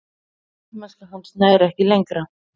Karlmennska hans nær ekki lengra.